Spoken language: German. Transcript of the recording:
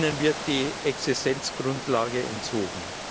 ihnen wird die Existenzgrundlage entzogen.